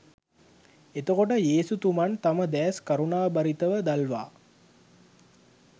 එතකොට යේසුතුමන් තම දෑස් කරුණාබරිතව දල්වා